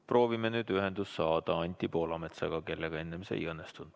Proovime nüüd ühendust saada Anti Poolametsaga, kellega enne see ei õnnestunud.